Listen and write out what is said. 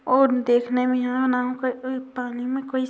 और देख ने मे यहा ना पानी मे--